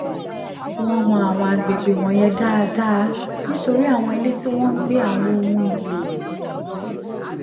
wọ́n mọ àwọn àgbègbè wọ̀nyẹn dáadáa nítorí àwọn ilé tí wọ́n ń gbé àwọn ohun èlò